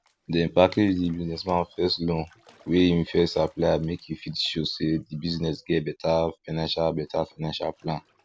dem package d businessman first loan wey him apply make e fit show say d business get beta financial beta financial plan